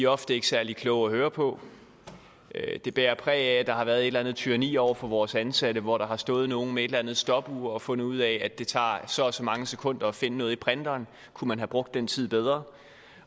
ofte ikke særlig kloge at høre på de bærer præg af at der har været et eller andet tyranni over for vores ansatte hvor der har stået nogle med et eller andet stopur og fundet ud af at det tager så og så mange sekunder at finde noget i printeren og kunne man have brugt den tid bedre